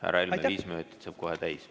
Härra Helme, viis minutit saab kohe täis.